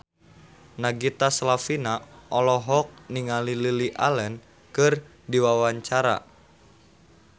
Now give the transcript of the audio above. Nagita Slavina olohok ningali Lily Allen keur diwawancara